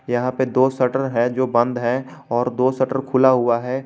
यहां पे दो शटर है जो बंद है और दो शटर खुला हुआ है।